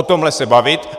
O tomhle se bavit.